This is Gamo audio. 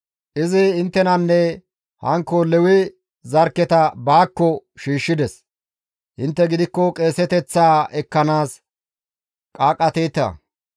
Izi inttenanne hankko Lewe zarkketa baakko shiishshides; intte gidikko qeeseteththaa ekkanaas qaaqqateeta;